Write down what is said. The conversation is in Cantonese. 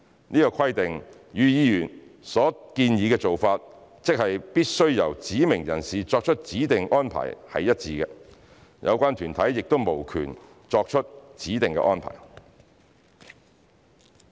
此規定與議員所建議的做法，即必須由指明人士作出指定安排是一致的，有關團體亦無權作出指定的安排。